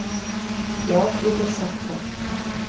Já ég get sagt það.